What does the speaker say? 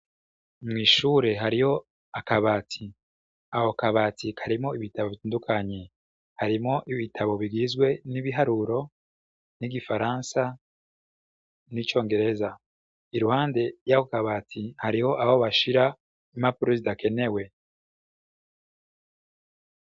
Mwishure hariho akabati. Ako kabati karimwo ibitabo bitandukanye .Harimwo ibitabo bigizwe n’ibiharuro ,n’igifaransa n’icongereza. Iruhande yako kabati hariho aho bashira impapuro zidakenewe.